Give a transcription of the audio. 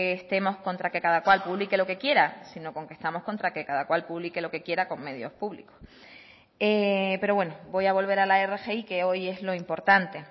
estemos contra que cada cual publique lo que quiere sino con que cada cual publique lo que quiera con medios públicos pero bueno voy a volver a al rgi que hoy es lo importante